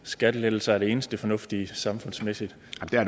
skattelettelser er det eneste fornuftige samfundsmæssigt